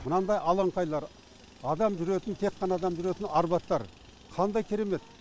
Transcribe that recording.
мынандай алаңпайлар адам жүретін тек қана адам жүретін арбаттар қандай керемет